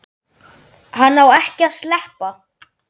Hann á ekki að sleppa.